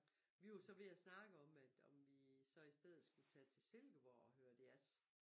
Vi var så ved at snakke om at om vi så i stedet skulle tage til Silkeborg og høre jazz